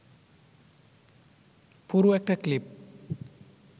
পুরো একটা ক্লিপ